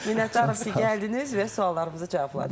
Minnətdarıq ki, gəldiniz və suallarımızı cavabladınız.